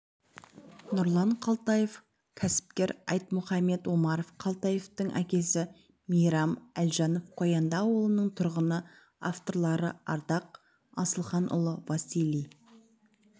нұрлан қалтаев кәсіпкер айтмұхамед омаров қалтаевтың әкесі мейрам әлжанов қоянды ауылының тұрғыны авторлары ардақ асылханұлы василий